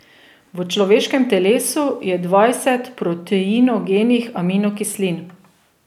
V človeškem telesu je dvajset proteinogenih aminokislin.